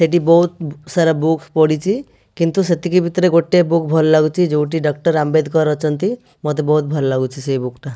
ଏଠି ବହୁତ ସାରା ବୁକ ପଡିଚି। କିନ୍ତୁ ସେତିକି ଭିତରେ ଗୋଟେ ବୁକ ଭଲ ଲାଗୁଚି। ଯଉଠି ଡ଼କ୍ଟର ଆମ୍ବେଦକର ଅଛନ୍ତି। ମୋତେ ବହୁତ ଭଲ ଲାଗୁଚି ସେଇ ବୁକ ଟା।